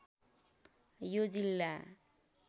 यो जिल्ला